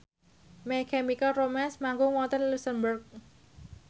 My Chemical Romance manggung wonten luxemburg